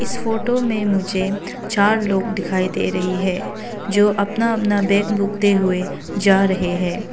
इस फोटो में मुझे चार लोग दिखाई दे रही है जो अपना अपना बैग भुगते हुए जा रहे हैं।